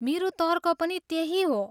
मेरो तर्क पनि त्यही हो।